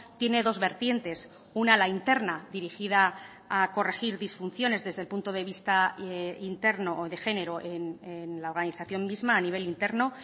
tiene dos vertientes una la interna dirigida a corregir disfunciones desde el punto de vista interno o de género en la organización misma a nivel interno